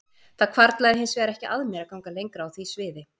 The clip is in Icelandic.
Það hvarflaði hins vegar ekki að mér að ganga lengra á því sviði.